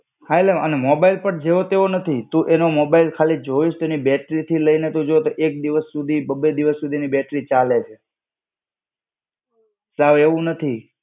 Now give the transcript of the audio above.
હા એટલે એનો મોબાઈલ બી જેવો તેવો નથી. તું એનો મોબાઈલ ખાલી જોઈસ તો એની બેટરીથી લઈને તું જો તો એક બી વસ્તુ બી બ બે દિવસ સુધીની બેટરી ચાલે છે. સાવ એવું નથી.